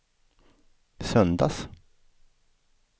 söndags